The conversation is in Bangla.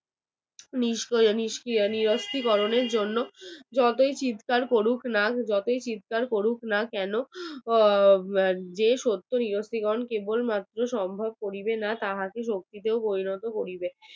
নিষ্ক্রি ~ নিষ্ক্রিয় করানোর জন্য যতই চিৎকার করুক না যতই চিৎকার করুক না কেন যে সত্যের সম্ভব করবে না তাহাকে শক্তিতে পরিণত করিবে